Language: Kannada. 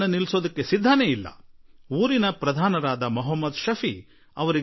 ಮಲ್ಲಮ್ಮ ಶೌಚಾಲಯಕ್ಕಾಗಿ ಸತ್ಯಾಗ್ರಹ ಮಾಡಿರುವ ಸಂಗತಿ ಗ್ರಾಮ ಪಂಚಾಯಿತಿ ಅಧ್ಯಕ್ಷ ಮೊಹಮ್ಮದ್ ಶಫಿಗೆ ತಿಳಿಯಿತು